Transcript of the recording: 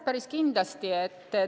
Päris kindlasti!